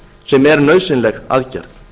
sem er nauðsynleg aðgerð